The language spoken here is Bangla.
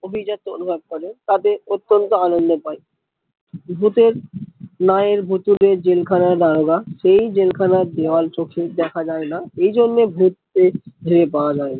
অভিজাত অনুভব করে তাতে অতন্ত আনন্দ পায় ভুতের নায়েক ভুতুড়ে জেল খানার দারোগা সেই জেল খানার দেয়াল চোখে দেখা যায় না এই জন্য ভুত প্রেত পাওয়া যায় না